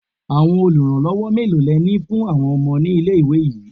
Àwọn oluranlowo mélòó le ní fún àwọn ọmọ nílé-ìwé yìí?